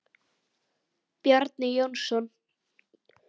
Bjarni Jónsson